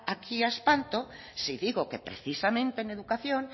aquí a espanto si digo que precisamente en educación